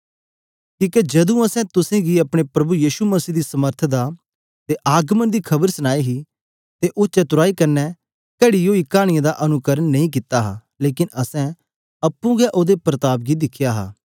कीहके जदू आसे तुस गी अपने प्रभु यीशु मसीह दी समर्थ दा अते आगमन दा खबर सनाई ही अते ओह चतुराई कन्ने घड़ी ओई कहानियों दा अनुकरण नेईं हे लेकन आसे आपे हे ओहदे प्रताप गी दिखेया हे